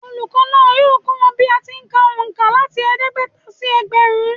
Olùkọ́ náà yóò kọ́ wa bí a ti ń kà òǹkà láti ẹ̀ẹ́dẹ́gbẹ̀ta sí ẹgbẹ̀rún